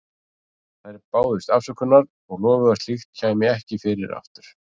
Þær báðust afsökunar og lofuðu að slíkt kæmi ekki fyrir aftur.